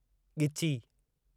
ॻिची